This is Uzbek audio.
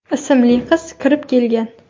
ismli qiz kirib kelgan.